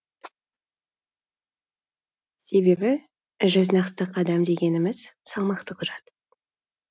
себебі жүз нақты қадам дегеніміз салмақты құжат